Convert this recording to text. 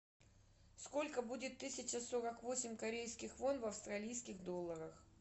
сколько будет тысяча сорок восемь корейских вон в австралийских долларах